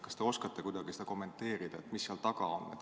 Kas te oskate kuidagi seda kommenteerida, mis seal taga on?